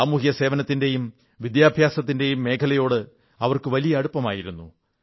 സാമൂഹ്യസേവനത്തിന്റെയും വിദ്യാഭ്യാസത്തിന്റെയും മേഖലയോട് അവർക്ക് വലിയ അടുപ്പമായിരുന്നു